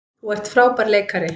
Þú ert frábær leikari.